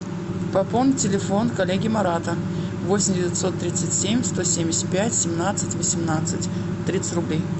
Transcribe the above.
пополни телефон коллеги марата восемь девятьсот тридцать семь сто семьдесят пять семнадцать восемнадцать тридцать рублей